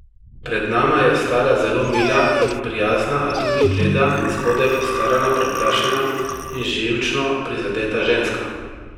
Pred nama je stala zelo mila in prijazna, a tudi bleda in zgodaj postarana, preplašena in živčno prizadeta ženska.